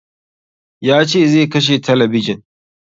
Ya ce zai kashe talabijin